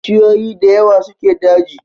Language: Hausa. Bishiyoyi da yawa suke daji